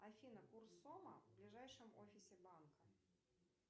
афина курс сома в ближайшем офисе банка